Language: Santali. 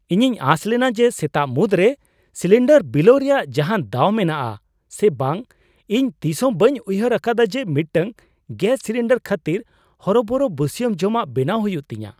ᱤᱧᱤᱧ ᱟᱸᱥ ᱞᱮᱱᱟ ᱡᱮ ᱥᱮᱛᱟᱜ ᱢᱩᱫᱽᱨᱮ ᱥᱤᱞᱤᱱᱰᱟᱨ ᱵᱤᱞᱟᱹᱣ ᱨᱮᱭᱟᱜ ᱡᱟᱦᱟᱱ ᱫᱟᱣ ᱢᱮᱱᱟᱜᱼᱟ ᱥᱮ ᱵᱟᱝ ᱾ ᱤᱧ ᱛᱤᱥᱦᱚᱸ ᱵᱟᱹᱧ ᱩᱭᱦᱟᱹᱨ ᱟᱠᱟᱫᱟ ᱡᱮ ᱢᱤᱫᱴᱟᱝ ᱜᱮᱥ ᱥᱤᱞᱤᱱᱰᱟᱨ ᱠᱷᱟᱹᱛᱤᱨ ᱦᱚᱨᱚᱵᱚᱨᱚ ᱵᱟᱹᱥᱭᱟᱹᱢ ᱡᱚᱢᱟᱜ ᱵᱮᱱᱟᱣ ᱦᱩᱭᱩᱜ ᱛᱤᱧᱟ !